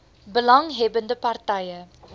belang hebbende partye